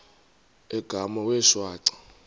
igama wee shwaca